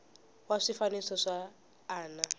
va swifaniso swa a na